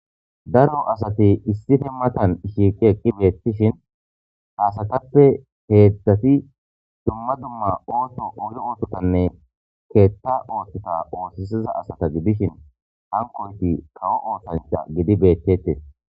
Daro asati issipe matan shiiqi eqi betishe ha asstape hedzati dumma dumma otho oge oothotanne ketha oothota osisiza asata gidishin hankoyti kawo osancha gidi betetes